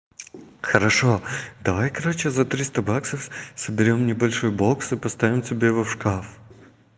хорошо давай короче за триста баксов соберём небольшой бокс и поставим тебе его в шкаф